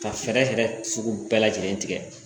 Ka fɛɛrɛ yɛrɛ sugu bɛɛ lajɛlen tigɛ